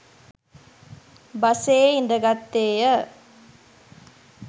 බසයේ ඉඳගත්තේය.